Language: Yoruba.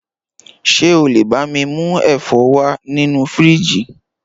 Ṣé o lé bá mi mú ẹ̀fọ́ wá nínú fíríjì